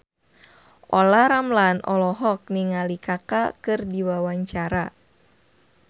Olla Ramlan olohok ningali Kaka keur diwawancara